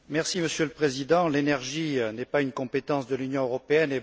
Monsieur le Président, l'énergie n'est pas une compétence de l'Union européenne.